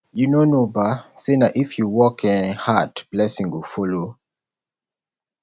you no know um say na if you work um hard blessing go follow